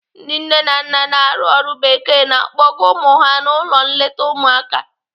Ndị nne na nna na-arụ ọrụ bekee na-akpọga ụmụ ha n'ụlọ nleta ụmụaka.